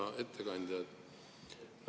Hea ettekandja!